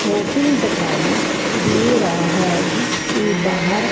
hotel दिखाई दे रहा है जिसके बाहर--